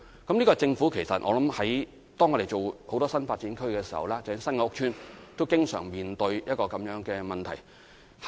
當政府發展很多新發展區的時候，包括發展新的屋邨時，也經常面對這樣的問題。